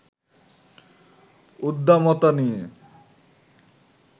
উদ্দামতা নিয়ে